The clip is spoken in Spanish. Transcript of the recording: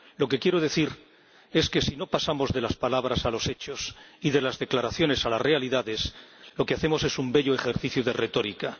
Lo que quiero decir es que, si no pasamos de las palabras a los hechos y de las declaraciones a las realidades, lo que hacemos es un bello ejercicio de retórica.